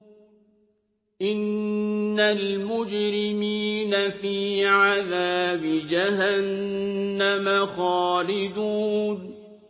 إِنَّ الْمُجْرِمِينَ فِي عَذَابِ جَهَنَّمَ خَالِدُونَ